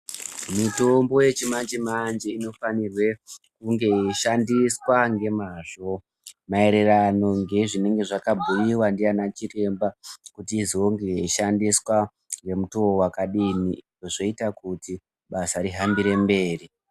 Mitombo yechimanjemanje inofanirwa kunge yeishandiswa ngemazvo ,mayererano ngezvinenge zvakabhuyiwa ndiyana chiremba kuti izonge yeishandiswa nomutowo wakadini? Zvoyita kuti basa rihambire mberi.